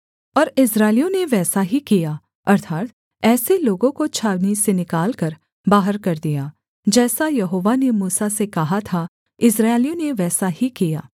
और इस्राएलियों ने वैसा ही किया अर्थात् ऐसे लोगों को छावनी से निकालकर बाहर कर दिया जैसा यहोवा ने मूसा से कहा था इस्राएलियों ने वैसा ही किया